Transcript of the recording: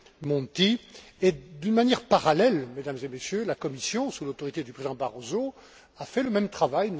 Monti et, d'une manière parallèle, Mesdames et Messieurs, la Commission, sous l'autorité du président Barroso, a fait le même travail.